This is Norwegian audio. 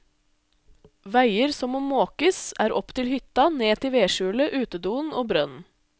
Veier som må måkes er opp til hytta, ned til vedskjulet, utedoen og brønnen.